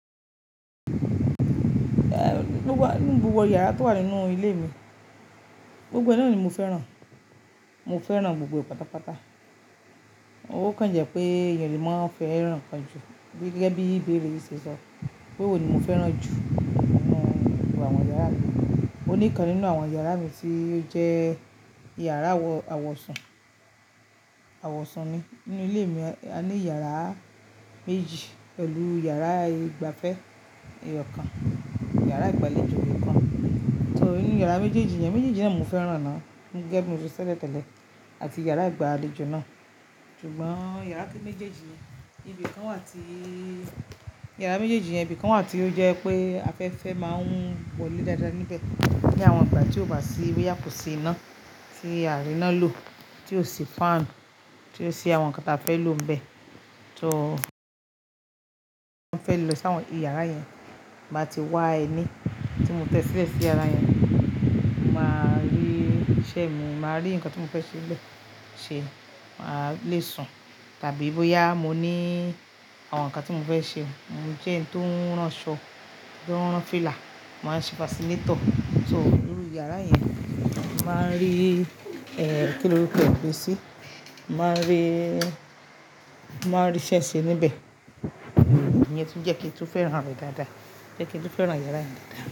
Gbogbo yàrá tó wà nínú ilé mi, gbogbo e náà ni mo fẹ́ràn. Mo fẹ́ràn gbogbo pátápátá. Ó kàn jẹ́ pé èèyàn lè máa fẹ́ràn kan jù gẹ́gẹ́ bí ìbéèrè yìí ṣe sọ. Pè'wò ni mo fẹ́ràn jù nínú gbogbo àwọn yàrá mi. Ó ní'kan nínú àwọn yàrá mi tí ó jẹ́ yàrá àwọ̀sun. Àwọ̀sun ni. Nínú ilé mi a ní yàrá méjì pẹ̀lú yàrá ìgba'fẹ́ eyọ̀ kan, yàrá ìgbàlejò kan. So ní yàrá méjèèjì yẹn, méjèèjì náà mo fẹ́ràn náà gẹ́gẹ́ bí mo ṣe sẹ́lẹ̀ tẹ́lẹ̀ àti yàrá ìgbàlejò náà. Ṣùgbọ́n yàrá méjèèjì, ibi kan wà tí yàrá méjèèjì yẹn, ibi kan wà tí ó jẹ́ pé afẹ́fẹ́ máa ń wọ̀lé dáadáa níbẹ̀. Ni àwọn ìgbà tí ó wà sí i boya kò sí iná tí àá rí'ná lò, tí ò sí fan, tí ò sí àwọn nǹkan t'afẹ́ lò níbẹ̀. So mo fẹ́ lọ sáwọn iyàrá yẹn ti n ba ti wá ẹní tí mo tẹ́ sílẹ̀ sí yàrá yẹn, mo máa rí iṣẹ́ mi, màá rí ǹkan tí mo fẹ́ ṣe n'bẹ́ẹ̀ ṣe, màá le sùn tàbí boya mo ní àwọn nǹkan tí mo fẹ́ ṣe. Mo jẹ́ ẹni tó ń rán aṣọ, tó ń rán fila, màá n ṣe fascinator. So nínú yàrá yẹn, màá rí ẹ̀ kí lórúkọ ẹ̀ gbé sí, màá rí, màá rí iṣẹ́ ṣe níbẹ̀. Ìyẹn tún jẹ́ kí n tó fẹ́ràn rẹ̀ dáadáa. Jẹ́ kí n tó fẹ́ràn yàrá yẹn dáadáa.